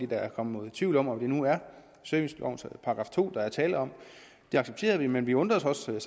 der er kommet nogen tvivl om om det nu er servicelovens § to der er tale om det accepterer vi men vi undrer os også